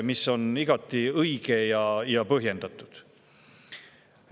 See on igati õige ja põhjendatud.